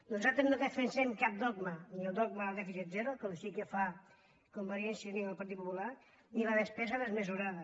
nosaltres no defensem cap dogma ni el dogma del dèficit zero com sí que fan convergència i unió i el partit popular ni la despesa desmesurada